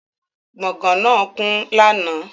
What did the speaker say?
Gbọ̀gán náà kún lánàá